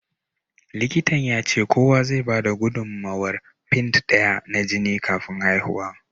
Likitan ya ce kowa zai bada gudummawar pint daya na jini kafin haihuwa.